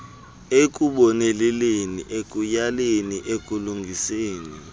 ekuboneleleni ekuyaleleni ekulungiseni